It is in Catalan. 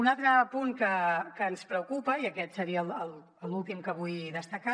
un altre punt que ens preocupa i aquest seria l’últim que vull destacar